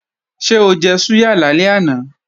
Ṣé ó jẹ súyà lálẹ́ àná?